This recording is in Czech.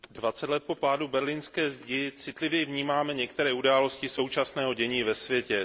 Dvacet let po pádu berlínské zdi citlivěji vnímáme některé události současného dění ve světě.